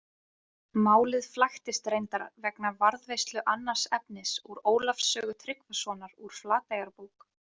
Málið flækist reyndar vegna varðveislu annars efnis úr Ólafs sögu Tryggvasonar úr Flateyjarbók.